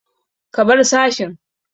Ka bar sashin!